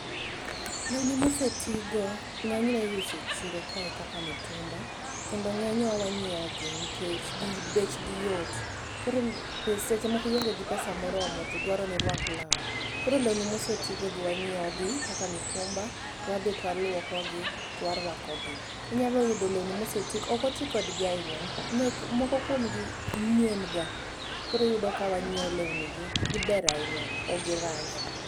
Lewni mosetigo ng'enyne iuso e chiro kae kaka mitumba, kendo ng'enywa wanyiewo gi nikech bechgi yot. Koro seche moko ionge gi pesa moromo to dwaro ni irwak law. Koro lewni moseti go gi wanyiewo gi kaka mitumba to wadhi to walwoko gi, to warwako gi. Inyalo yudo lewni moseti go, ok oti kodgi ahinya. Moko kuom gi nyien ga. Koro iyudo ka wanyiewo lewni gi, giber ahinya, ok gi rach.